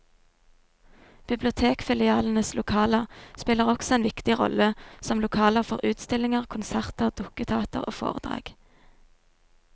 Bibliotekfilialenes lokaler spiller også en viktig rolle som lokaler for utstillinger, konserter, dukketeater og foredrag.